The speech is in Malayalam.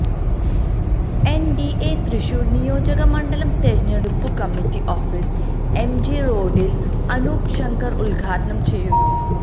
എൻ ഡി എ തൃശൂർ നിയോജക മണ്ഡലം തിരഞ്ഞെടുപ്പു കമ്മിറ്റി ഓഫീസ് എംജി റോഡിൽ അനൂപ് ശങ്കർ ഉദ്ഘാടനം ചെയ്യുന്നു